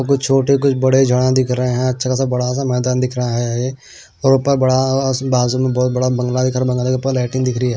कुछ छोटे कुछ बड़े जना दिख रहे हैं अच्छा खासा बड़ा सा मैदान दिख रहा है और बाजू में बहुत बड़ा बंग बट दिख रही है।